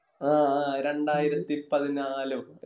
ആ ആഹ് രണ്ടായിരത്തി പതിനാലോ